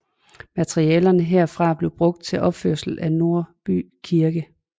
Materialerne herfra blev brugt til opførelse af Nordby Kirke